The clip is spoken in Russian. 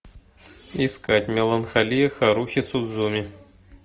искать меланхолия харухи судзумии